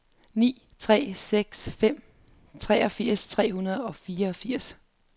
ni tre seks fem treogfirs tre hundrede og fireogfirs